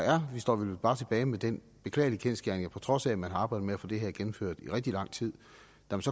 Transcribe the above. står vi vel bare tilbage med den beklagelige kendsgerning at på trods af at man arbejdede på at få det her gennemført i rigtig lang tid